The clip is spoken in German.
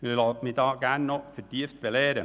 Ich lasse mich da gern noch vertieft belehren.